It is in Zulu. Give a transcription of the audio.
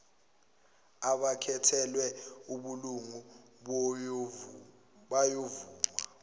abakhethelwe ubulungu bayovuma